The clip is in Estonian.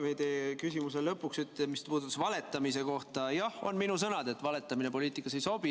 Ma ütlen eelmise küsimuse ja meie jutuajamise lõpuks, mis puudutas valetamist: jah, need on minu sõnad, et valetamine poliitikas ei sobi.